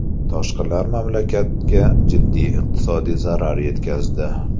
Toshqinlar mamlakatga jiddiy iqtisodiy zarar yetkazdi.